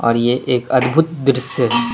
और ये एक अद्भुत दृश्य।